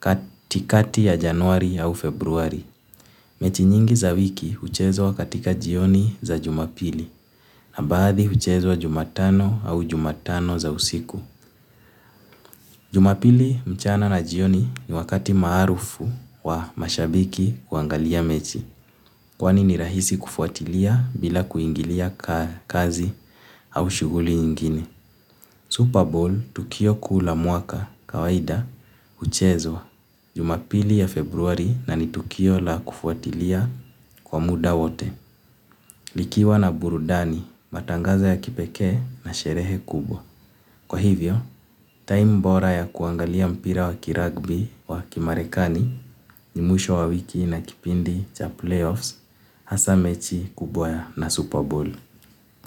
katikati ya Januari au Februari. Mechi nyingi za wiki huchezwa katika jioni za jumapili na baadhi huchezwa jumatano au jumatano za usiku. Jumapili mchana na jioni ni wakati maharufu wa mashabiki kuangalia mechi. Kwani ni rahisi kufuatilia bila kuingilia kazi au shuguli nyingine. Super Bowl, Tukio Kuu la Mwaka, Kawaida, huchezwa jumapili ya Februari na ni tukio la kufuatilia kwa muda wote. Likiwa na burudani, matangazo ya kipekee na sherehe kubwa. Kwa hivyo, time mbora ya kuangalia mpira wa kiragbi wa kimarekani ni mwisho wa wiki na kipindi cha playoffs hasa mechi kubwa ya na Super Bowl.